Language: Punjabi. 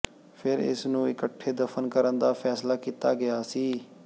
ਫਿਰ ਇਸ ਨੂੰ ਇਕੱਠੇ ਦਫ਼ਨ ਕਰਨ ਦਾ ਫੈਸਲਾ ਕੀਤਾ ਗਿਆ ਸੀ